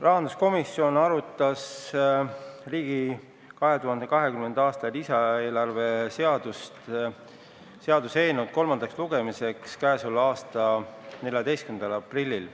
Rahanduskomisjon arutas riigi 2020. aasta lisaeelarve seaduse eelnõu enne kolmandat lugemist 14. aprillil.